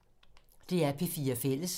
DR P4 Fælles